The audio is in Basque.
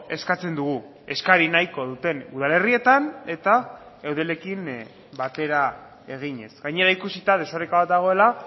eskatzen dugu eskari nahiko duten udalerrietan eta eudelekin batera eginez gainera ikusita desoreka bat dagoela